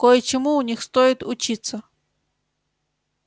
кое-чему у них стоит учиться